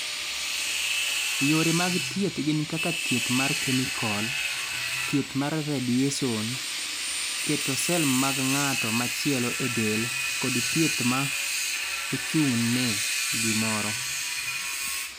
Yore mag thieth gin kaka thieth mar kemikol, thieth mar radiyeson, keto sel mag ng'at machielo e del, kod thieth ma ochung'ne gimoro.